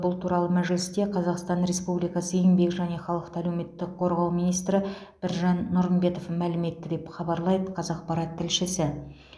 бұл туралы мәжілісте қазақстан республикасы еңбек және халықты әлеуметтік қорғау министрі біржан нұрымбетов мәлім етті деп хабарлайды қазақпарат тілшісі